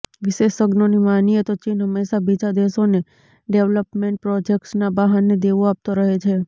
વિશેષજ્ઞોની માનીએ તો ચીન હંમેશા બીજા દેશોને ડેવલપમેન્ટ પ્રોજેક્ટ્સના બહાને દેવુ આપતો રહે છે